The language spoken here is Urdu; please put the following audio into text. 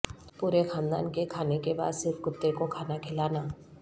پورے خاندان کے کھانے کے بعد صرف کتے کو کھانا کھلانا